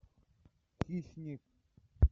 хищник